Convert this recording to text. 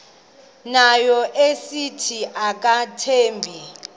ngayo esithi akamthembi